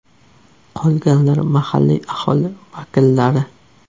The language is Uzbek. Qolganlar mahalliy aholi vakillari.